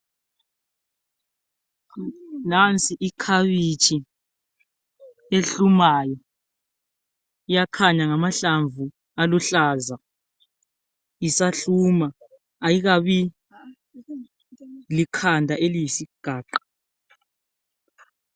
Nansi ikhabitshi ehlumayo, iyakhanya ngamahlamvu aluhlaza. Isahluma ayikabi likhanda eliyisigaqa.